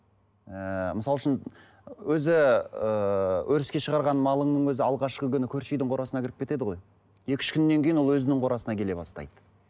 ііі мысалы үшін өзі ііі өріске шығарған малыңның өзі алғашқы күні көрші үйдің қорасына кіріп кетеді ғой екі үш күннен кейін ол өзінің қорасына келе бастайды